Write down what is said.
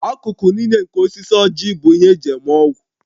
Akụkụ niile nke osisi ójì bụ ihe eji eme ọgwụ